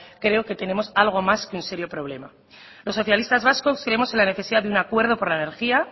creo que tenemos algo más que un serio problema los socialistas vascos creemos en la necesidad de un acuerdo para la energía